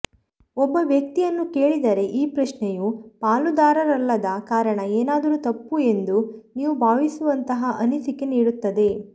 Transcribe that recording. ಒಬ್ಬ ವ್ಯಕ್ತಿಯನ್ನು ಕೇಳಿದರೆ ಈ ಪ್ರಶ್ನೆಯು ಪಾಲುದಾರರಲ್ಲದ ಕಾರಣ ಏನಾದರೂ ತಪ್ಪು ಎಂದು ನೀವು ಭಾವಿಸುವಂತಹ ಅನಿಸಿಕೆ ನೀಡುತ್ತದೆ